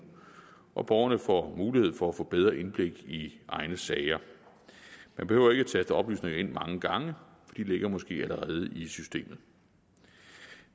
og borgerne får mulighed for at få bedre indblik i egne sager man behøver ikke at taste oplysninger ind mange gange de ligger måske allerede i systemet